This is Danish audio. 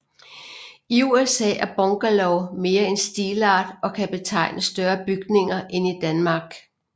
I USA er bungalow mere en stilart og kan betegne større bygninger end i Danmark